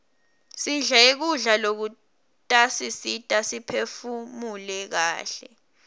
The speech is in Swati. sidle kudla lokutasisita siphefunule kaihle